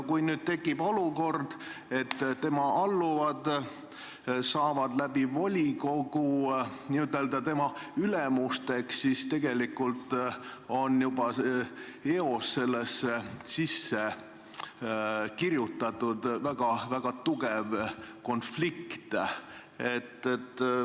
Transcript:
Kui nüüd tekib olukord, et tema alluvad saavad volikogu kaudu n-ö tema ülemusteks, siis tegelikult on juba eos sellesse sisse kirjutatud väga tugev konflikt.